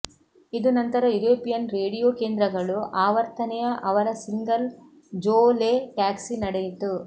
ಇದು ನಂತರ European radio ಕೇಂದ್ರಗಳು ಆವರ್ತನೆಯ ಅವರ ಸಿಂಗಲ್ ಜೋ ಲೆ ಟ್ಯಾಕ್ಸಿ ನಡೆಯಿತು